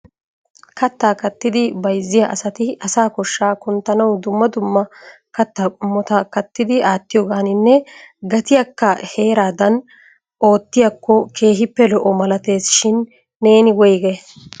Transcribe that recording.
Katta kattidi bayzziya asati asa koshsha kunttanaw dumma dumma kattaa qommota kattidi aatiyoovaninne gatiyaakka heeradan oottiyaako keehippe lo"o malaatesishin, neeni woyggay?